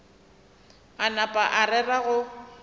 a napa a rera go